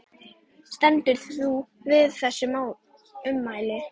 Stendur þú við þessi ummæli?